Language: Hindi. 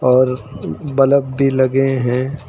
और बलब भी लगे हैं।